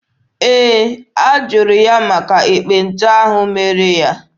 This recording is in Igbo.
Ee, a jụrụ ya maka ekpenta ahụ mere ya.